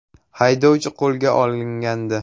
Haydovchi qo‘lga olingandi.